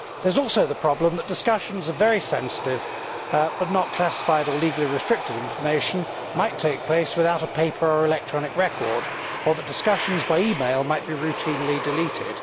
There is also the problem that discussions which are very sensitive, but not classified or legally restricted information, might take place without a paper or electronic record or that discussions by email might be routinely deleted.